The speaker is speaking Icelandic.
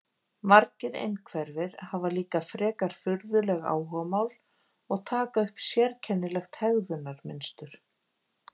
Margir einhverfir hafa líka frekar furðuleg áhugamál og taka upp sérkennilegt hegðunarmynstur.